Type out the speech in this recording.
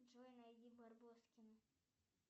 джой найди барбоскины